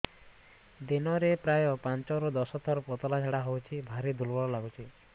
ଦିନରେ ପ୍ରାୟ ପାଞ୍ଚରୁ ଦଶ ଥର ପତଳା ଝାଡା ହଉଚି ଭାରି ଦୁର୍ବଳ ଲାଗୁଚି